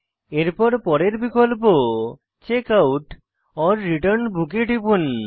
এরপর পরের বিকল্প চেকআউট ওর রিটার্ন বুক এ টিপুন